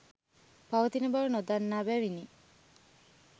පවතින බව නොදන්නා බැවිනි.